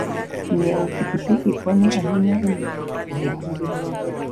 Ng'iewo pikipiki konyo ahinya e miyo ng'ato obed gi ngima maber.